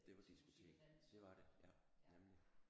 Det var diskotek det var det ja nemlig